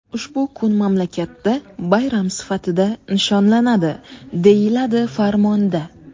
Ushbu kun mamlakatda bayram sifatida nishonlanadi, deyiladi farmonda.